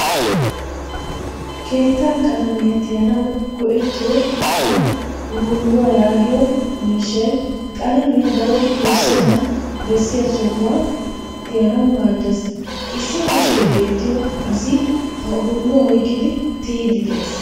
Keettaa qalaamiyaa tiyanawu go'ettiyo a "uruluwaa" yaagiyo miishshay qalaamiyaa daro wurssenan besiyaa sohuwaa tiyanawu maaddees. Issi kushshe beetiyo asi ha urulluwaa oyqqidi tiyidi de'ees.